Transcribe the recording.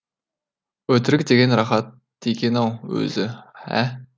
өтірік деген рахат екен ау өзі ә